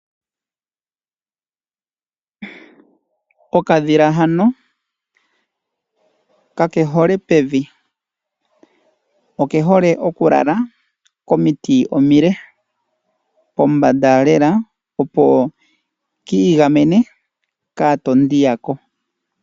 Okadhila hano kake hole pevi. Oke hole oku lala komiti omile pombanda lela opo kiigamene katondi yako.